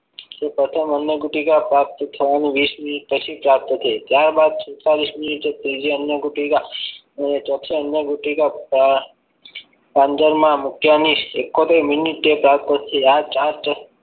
પ્રથમ અન્ન ગુટિકા થયાના વીસ minute પછી પ્રાપ્ત થઈ ત્યારબાદ સુદ્તાલીશ munite એ ત્રીજી અન્ય ગુટિકા અને ચોથી અન્ય ગુટિકા મૂક્યા નહીં એક્કોતે minute પ્રાપ્ત થઈ.